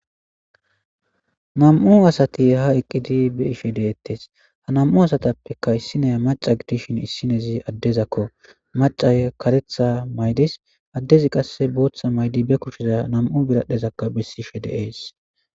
Nam'u asati ha eqqidi be ishe deettes ha nam'u asatappekka issinaya maca gidishin issinezi addezakko maca karetha maydis addezi qasse booththa maydi be kushiza nam'u biradhezakka bessishe dees.